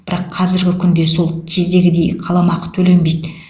бірақ қазіргі күнде сол кездегідей қаламақы төленбейді